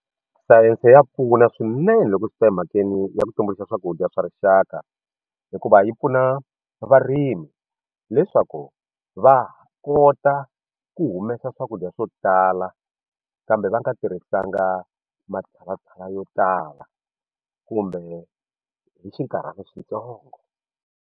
Sayense ya pfuna swinene loko swi ta emhakeni ya ku tumbuluxa swakudya swa rixaka hikuva yi pfuna varimi leswaku va kota ku humesa swakudya swo tala kambe va nga tirhisanga matshalatshala yo tala kumbe hi xinkarhana xitsongo.